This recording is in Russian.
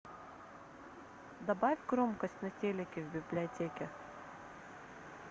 добавить громкость на телике в библиотеке